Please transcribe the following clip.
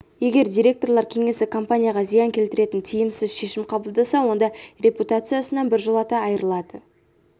егер директорлар кеңесі компанияға зиян келтіретін тиімсіз шешім қабылдаса онда репутациясынан біржолата айырылады